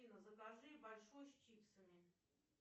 афина закажи большой с чипсами